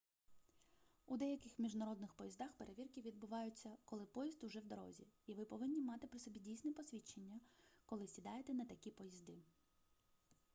у деяких міжнародних поїздах перевірки відбуваються коли поїзд уже в дорозі і ви повинні мати при собі дійсне посвідчення коли сідаєте на такі поїзди